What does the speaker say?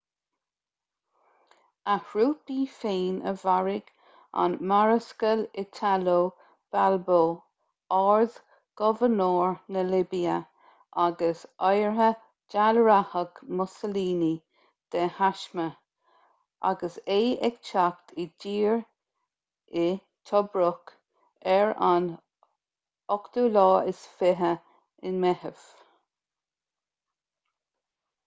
a thrúpaí féin a mharaigh an marascal italo balbo ard-ghobharnóir na libia agus oidhre ​​dealraitheach mussolini de thaisme agus é ag teacht i dtír i tobruk ar an 28 meitheamh